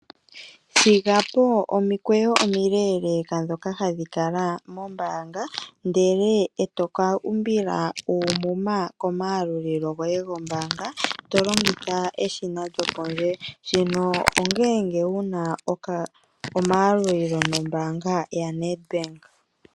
Thigapo omikweyo omileeleeka ndhoka hadhi kala mombaanga, ndele etoka umbila uumuma komayalulilo goye gombaanga , tolongitha eshina lyokondje . Shino ongele wuna omayalulilo nombaanga yaNedbank.